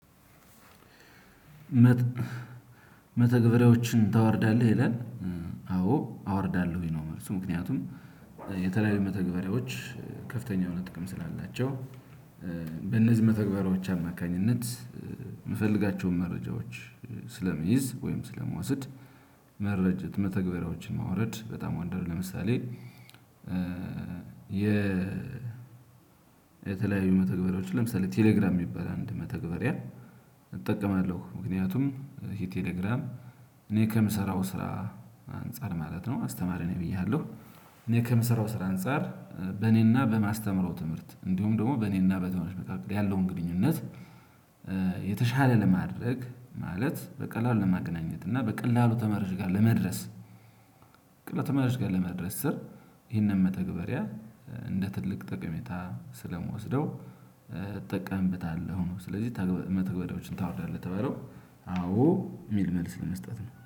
መተግበሪያዎችን ታወርዳለህ ይላል? አዎ አወርዳለሁኝ ነው። መልሱ ምክንያቱም የተለያዩ መተግበሪያዎች ከፍተኛ የሆነ ጥቅም ስላላቸው። በእነዚህ መተግበሪያዎች አማካኝነት የምፈልጋቸውን መረጃዎች ስለምይዝ ወይም ስለምውሰድ። መረጃ መተግበሪያዎችን ማውረድ በጣም ወንደርል። ለምሳሌ የ የተለያዩ መተግበሪያዎች ለምሳሌ ቴሌግራም የሚባል አንድ መተግበሪያ እጠቀማለሁ ምክንያቱም ይሄ ቴሌግራም እኔ ከምሰራው ስራ አንፃር ማለት ነው አስተማሪ ነኝ ብዬሃለሁ። እኔ ከምሰራው ስራ አንፃር በእኔና በማስተምረው ትምህርት እንዲሁም ደግሞ በእኔና በተማሪዎች ያለውን ግንኙነት። የተሻለ ለማድረግ ማለት በቀላሉ ለማግናኘት እና በቀላሉ ተማሪዎች ጋር ለመድረስ። ቀላሉ ተማሪዎች ጋር ለመድረስ ስር ይህንን መተግበሪያ እንደ ትልቅ ጠቀሜታ ስለምወስደው እጠቀምብታለሁ ነው። ስለዚህ መተግበሪያዎችን ታወርዳለህ? ለተለው አዎ የ? እሚል መልስ ለመስጠት ነው